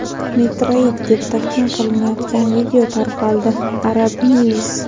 meteorit deb taxmin qilinayotgan video tarqaldi – "Arab News".